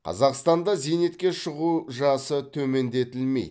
қазақстанда зейнетке шығу жасы төмендетілмейді